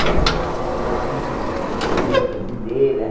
Peças peças estrangeiras, brasileiras.